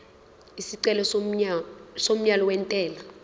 isicelo somyalo wentela